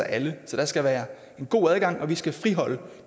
alle så der skal være en god adgang og vi skal friholde